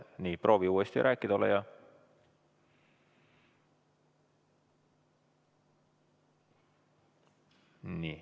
Nii, ole hea, proovi uuesti rääkida!